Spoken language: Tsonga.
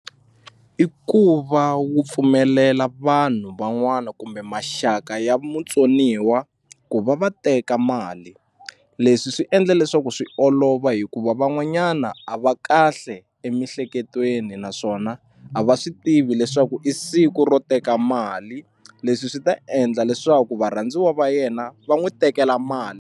I ku va wu pfumelela vanhu van'wana kumbe maxaka ya mutsoniwa ku va va teka mali leswi swi endla leswaku swi olova hikuva van'wanyana a va kahle emihleketweni naswona a va swi tivi leswaku i siku ro teka mali leswi swi ta endla leswaku varhandziwa va yena va n'wi tekela mali.